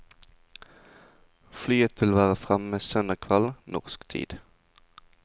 Flyet vil være fremme søndag kveld, norsk tid.